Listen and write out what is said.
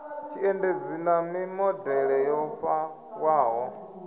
tshiendedzi na mimodele yo fhaṱwaho